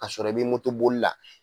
A sɔrɔ i bɛ motoboli la